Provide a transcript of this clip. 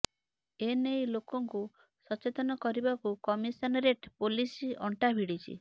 ଏନେଇ ଲୋକଙ୍କୁ ସଚେତନ କରିବାକୁ କମିଶନରେଟ୍ ପୋଲିସ ଅଣ୍ଟା ଭିଡିଛି